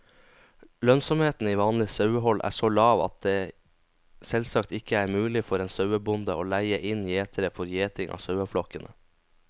Lønnsomheten i vanlig sauehold er så lav at det selvsagt ikke er mulig for en sauebonde å leie inn gjetere for gjeting av saueflokkene.